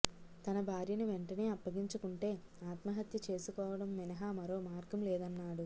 తన భార్యను వెంటనే అప్పగించకుంటే ఆత్మహత్య చేసుకోవడం మినహా మరో మార్గం లేదన్నాడు